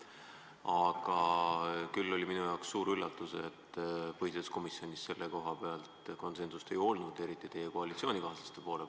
Minule oli suur üllatus, et põhiseaduskomisjonis selle koha peal konsensust ei olnud, eriti teie koalitsioonikaaslaste poolel.